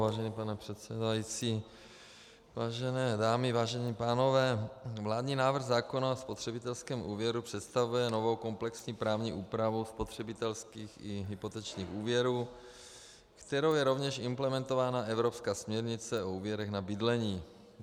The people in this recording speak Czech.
Vážený pane předsedající, vážené dámy, vážení pánové, vládní návrh zákona o spotřebitelském úvěru představuje novou komplexní právní úpravu spotřebitelských i hypotečních úvěrů, kterou je rovněž implementována evropská směrnice o úvěrech na bydlení.